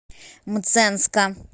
мценска